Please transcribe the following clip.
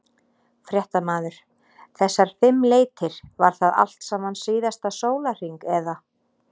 Fréttamaður: Þessar fimm leitir, var það allt saman síðasta sólarhring eða?